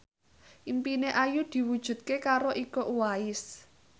impine Ayu diwujudke karo Iko Uwais